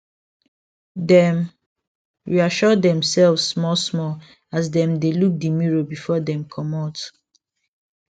dem reassure demselves small small as them dey look the mirror before them comot